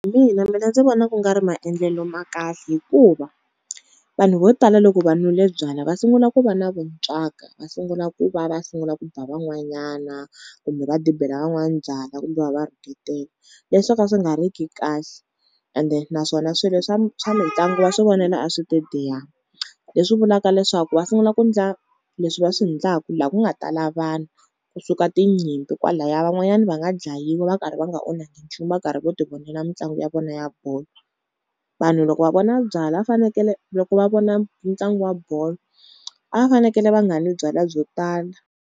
mina, mina ndzi vona ku nga ri maendlelo ma kahle hikuva vanhu vo tala loko va nwile byalwa va sungula ku va na vuntswaka, va sungula ku va va va sungula ku ba van'wanyana, kumbe va dibela van'wana byalwa kumbe va va rhuketela. Leswo ka swi nga ri ki kahle ende naswona swilo swa swa mitlangu va swi vonela aswitediyamu. Leswi vulaka leswaku va sungula ku ndla leswi va swi ndlaku la ku nga tala vanhu, kusuka tinyimpi kwalaya van'wanyana va nga dlayiwa va karhi va nga onhakangi nchumu va karhi vo ti vonela mitlangu ya vona ya bolo. Vanhu loko va vona byalwa a fanekele loko va vona ntlangu wa bolo a va fanekele va nga nwi byalwa byo tala.